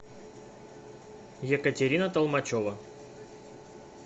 екатерина толмачева